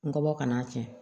N kɔbɔ ka n'a kɛ